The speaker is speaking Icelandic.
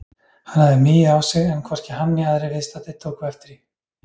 Hann hafði migið á sig en hvorki hann né aðrir viðstaddir tóku eftir því.